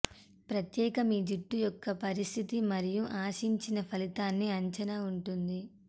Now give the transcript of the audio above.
ప్రత్యేక మీ జుట్టు యొక్క పరిస్థితి మరియు ఆశించిన ఫలితాన్ని అంచనా ఉంటుంది